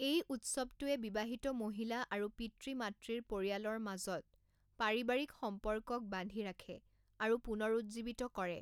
এই উৎসৱটোৱে বিবাহিত মহিলা আৰু পিতৃ মাতৃৰ পৰিয়ালৰ মাজত পাৰিবাৰিক সম্পৰ্কক বান্ধি ৰাখে আৰু পুনৰুজ্জীৱিত কৰে।